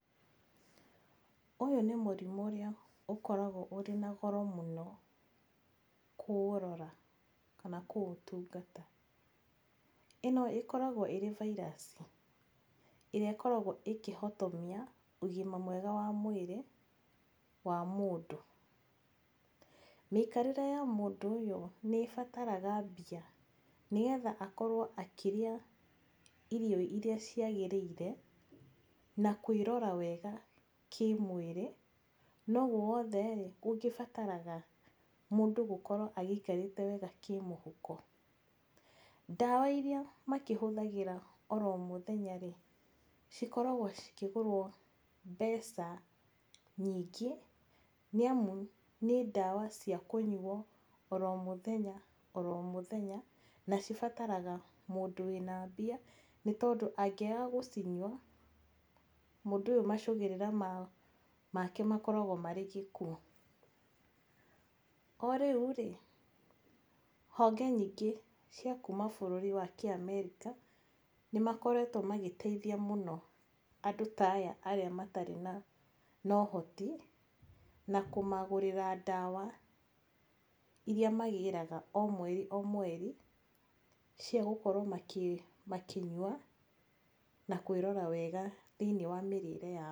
Ũyũ nĩ mũrimũ ũrĩa ũkoragwo ũrĩ na goro mũno, kũũrora, kana kũũtungata. Ĩno ĩkoragwo iri virus, ĩrĩa ĩkoragwo ĩkĩhotomia ũgima mwega wa mwĩrĩ, wa mũndũ. Mĩikarĩre ya mũndũ ũyũ nĩ ĩbataraga mbia, nĩgetha akoro akĩrĩa irio ciagĩrĩire, na kũĩrora wega kĩmwĩrĩ, noũũ wothe-rĩ, gũgĩbataraga mũndũ gũkorwo agĩikarĩte wega kĩmũhuko. Ndawa irĩa makĩhũthagĩra oromũthenya-rĩ, cikoragwo cikigũrwo mbeca nyingĩ, nĩamu nĩ ndawa cia kũnyuo oromũthenya, oromũthenya, na cibataraga mũndũ wĩ na mbia, nĩ tondũ angĩaga gũcinyua, mũndũ ũyũ macũngĩrĩra make gũkoragwo arĩ gĩkuũ. Ho rĩũ-rĩ, honge nyingĩ cia kuuma bũrũri wa Kĩamerika nĩmakoretwo magĩteithia mũno andũ taya arĩ matarĩ na ũhoti, na kũmagũrĩra ndawa irĩa magĩraga o mweri o mweri cia gũkorwo makĩnyua, na kwĩrora wega thĩiniĩ wa mĩrĩre yao.